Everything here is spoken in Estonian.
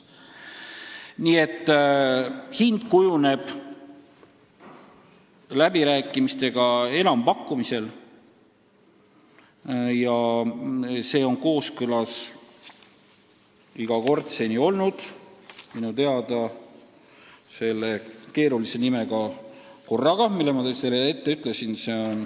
Hind kujuneb läbirääkimistel enampakkumise korras ja see on minu teada seni olnud kooskõlas keerulise nimega korraga, mida ma enne juba märkisin.